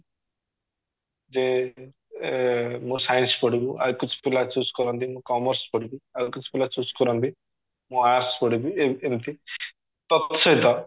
ଯେ ଏ ମୁଁ science ପଢିବୁ ଆଉ କିଛି ପିଲା choose କରନ୍ତି ମୁଁ commerce ପଢିବି ଆଉ କିଛି ପିଲା choose କରନ୍ତି ମୁଁ arts ପଢିବି ଏମିତି ତତ୍ ସହିତ